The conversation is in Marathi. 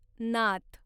नात